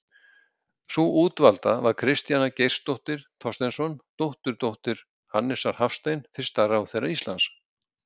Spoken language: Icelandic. Sú útvalda var Kristjana Geirsdóttir Thorsteinsson, dótturdóttir Hannesar Hafstein fyrsta ráðherra Íslands.